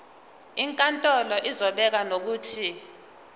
inkantolo izobeka nokuthi